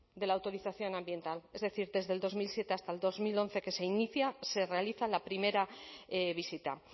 de la autorización ambiental es decir desde el dos mil siete hasta el dos mil once que se inicia se realiza la primera visita